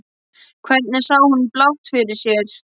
Hvernig sá hún blátt fyrir sér?